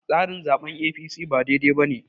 tsarin zaɓen A.p.c ba dai dai ba ne